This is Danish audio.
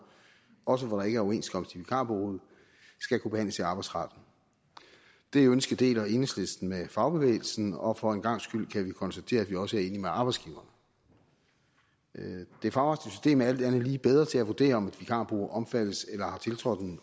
også når der ikke er overenskomst i vikarbureauet skal kunne behandles i arbejdsretten det ønske deler enhedslisten med fagbevægelsen og for en gangs skyld kan vi konstatere at vi også enige med arbejdsgiverne det fagretlige system er alt andet lige bedre til at vurdere om et vikarbureau omfattes af eller har tiltrådt